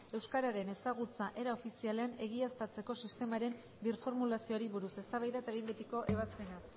euskararen ezagutza era ofizialean egiaztatzeko sistemaren birformulazioari buruz eztabaida eta behin betiko ebazpena